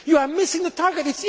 time. You are missing the